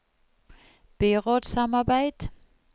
byrådssamarbeid